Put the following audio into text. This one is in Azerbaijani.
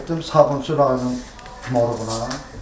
Getdim Sabunçu rayonun moruğuna.